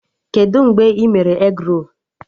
Kedụ mgbe ị mere egrolu?